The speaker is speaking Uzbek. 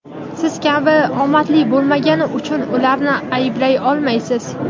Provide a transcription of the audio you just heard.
Siz kabi omadli bo‘lmagani uchun ularni ayblay olmaysiz.